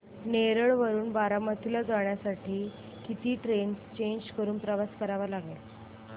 नेरळ वरून बारामती ला जाण्यासाठी किती ट्रेन्स चेंज करून प्रवास करावा लागेल